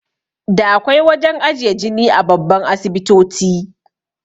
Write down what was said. Da akwai wajan ajiye jini a babban asibitoti